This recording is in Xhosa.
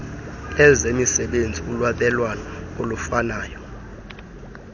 lezemisebenzi ulwabelwano olufanayo